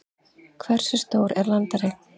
hversu stór er landareign